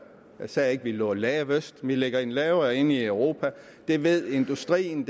jeg sagde ikke at vi lå lavest vi ligger i den lavere ende i europa det ved industrien